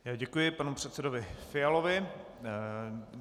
Děkuji panu předsedovi Fialovi.